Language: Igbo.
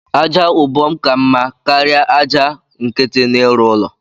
Aja ubom ka mma karia aja nkiti n’ịrụ ụlọ